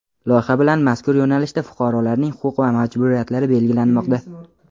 Loyiha bilan mazkur yo‘nalishda fuqarolarning huquq va majburiyatlari belgilanmoqda.